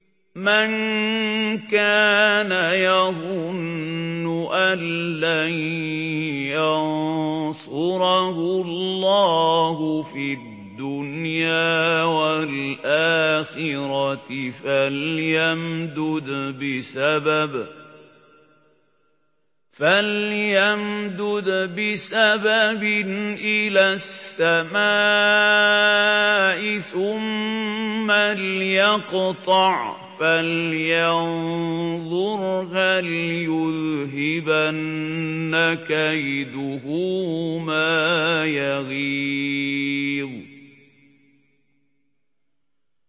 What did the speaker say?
مَن كَانَ يَظُنُّ أَن لَّن يَنصُرَهُ اللَّهُ فِي الدُّنْيَا وَالْآخِرَةِ فَلْيَمْدُدْ بِسَبَبٍ إِلَى السَّمَاءِ ثُمَّ لْيَقْطَعْ فَلْيَنظُرْ هَلْ يُذْهِبَنَّ كَيْدُهُ مَا يَغِيظُ